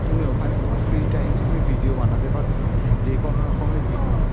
তুমি ওখানে তোমার free time এ তুমি video বানাতে পারো যে কোনো রকমের video